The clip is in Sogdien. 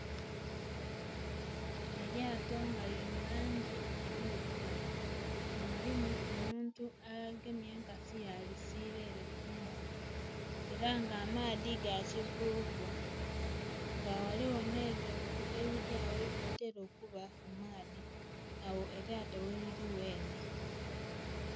Elyato nga liri mulangi endhirugavu nga mulimu omuntu agemye enkasi yalisira ere kumbali era nga amaadhi gakivuvu nga ghaligho n'ebintu ebiryagho ebitera okuba kumaadhi agho elyato gheriri ghene.